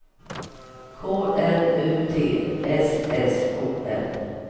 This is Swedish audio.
K N U T S S O N